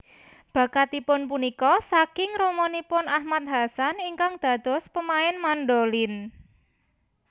Bakatipun punika saking ramanipun Ahmad Hassan ingkang dados pemain mandolin